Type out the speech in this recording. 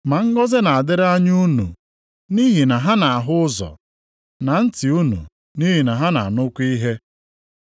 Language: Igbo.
Ma ngọzị na-adịrị anya unu, nʼihi na ha na-ahụ ụzọ, na ntị unu nʼihi na ha na-anụkwa ihe.